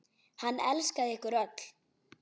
Hann elskaði ykkur öll.